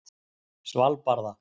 Svalbarða